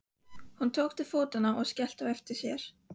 Hún tók til fótanna og skellti á eftir sér.